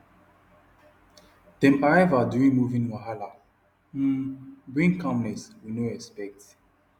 dem arrival during moving wahala um bring calmness we no expect